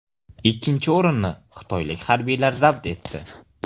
Ikkinchi o‘rinni xitoylik harbiylar zabt etdi.